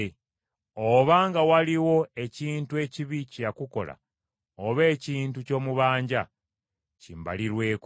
Obanga waliwo ekintu ekibi kye yakukola, oba ekintu ky’omubanja, kimbalirweko.